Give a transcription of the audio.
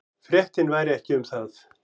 Fréttin væri ekki um það.